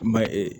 Ma ye ee